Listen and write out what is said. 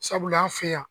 Sabula an fɛ yan